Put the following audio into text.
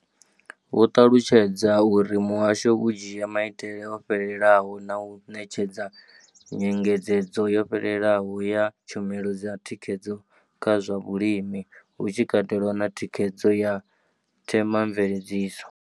Vho ṱalutshedza uri muhasho u dzhia maitele o fhelelaho na u ṋetshedza nyengedzedzo yo fhelelaho ya tshumelo dza thikhedzo kha zwa vhulimi, hu tshi katelwa na thikhedzo ya themamveledziso.